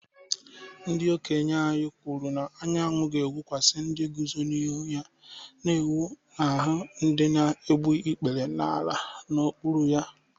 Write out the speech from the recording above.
Ndị okenye anyị na-ekwu na anyanwụ ga-enwukwasị ndị guzo n’ihu ya na-enwu n’ahụ́ ndị na-egbu ikpere n’ala n’okpuru ha